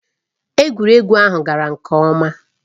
Egwuregwu ahụ gara nke ọma.